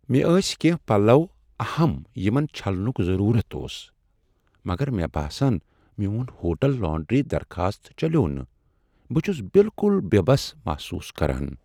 مےٚ ٲسۍ کینٛہہ پلو اہم یمن چھلنُك ضروُرت اوس ، مگر مے٘ باسان میون ہوٹل لانڈری درخاست چلیوو نہٕ ، بہٕ چھُس بِلكُل بے٘ بس محسوس كران ۔